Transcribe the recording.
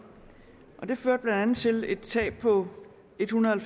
det førte blandt andet til et tab på ethundrede og